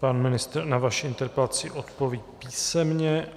Pan ministr na vaši interpelaci odpoví písemně.